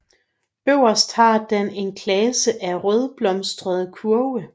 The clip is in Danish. Øverst har den en klase af rødblomstrede kurve